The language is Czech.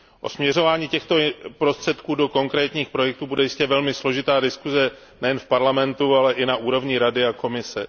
O směřování těchto prostředků do konkrétních projektů bude jistě velmi složitá diskuse nejen v Parlamentu, ale i na úrovni Rady a Komise.